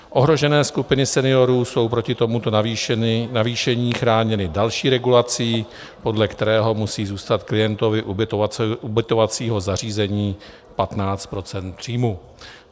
Ohrožené skupiny seniorů jsou proti tomuto navýšení chráněny další regulací, podle které musí zůstat klientovi ubytovacího zařízení 15 % příjmu.